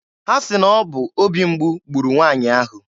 Ha sị na ọ bụ obi mgbu gburu nwaanyị ahụ.